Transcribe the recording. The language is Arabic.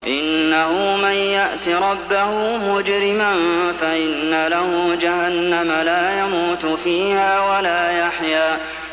إِنَّهُ مَن يَأْتِ رَبَّهُ مُجْرِمًا فَإِنَّ لَهُ جَهَنَّمَ لَا يَمُوتُ فِيهَا وَلَا يَحْيَىٰ